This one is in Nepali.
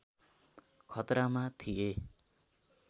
खतरामा थिए